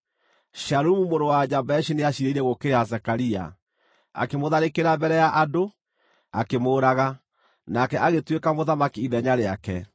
Shalumu mũrũ wa Jabeshi nĩaciirĩire gũũkĩrĩra Zekaria. Akĩmũtharĩkĩra mbere ya andũ, akĩmũũraga, nake agĩtuĩka mũthamaki ithenya rĩake.